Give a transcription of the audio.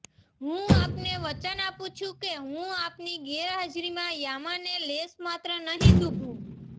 હું આપને વચન આપું છું કે હું આપની ગેરહાજરીમાં યામાને લેશમાત્ર નહીં દૂભવું